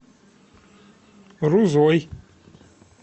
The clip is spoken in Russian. рузой